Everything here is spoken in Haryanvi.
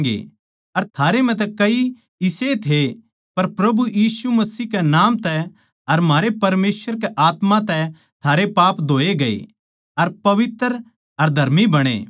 अर थारै म्ह तै कई इसेए थे पर प्रभु यीशु मसीह कै नाम तै अर म्हारै परमेसवर के आत्मा तै थारे पाप धोए गये अर पवित्र अर धर्मी बणे